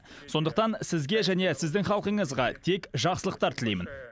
сондықтан сізге және сіздің халқыңызға тек жақсылықтар тілеймін